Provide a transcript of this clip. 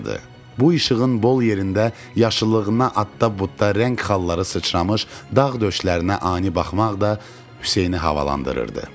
Bu işığın bol yerində yaşıllığına adda-budda rəng xalları sıçramış dağ döşlərinə ani baxmaq da Hüseyni havalandırırdı.